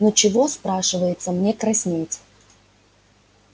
ну чего спрашивается мне краснеть